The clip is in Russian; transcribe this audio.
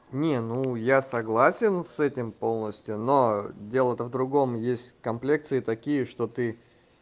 не ну я согласен с этим полностью но дело-то в другом есть комплекции такие что ты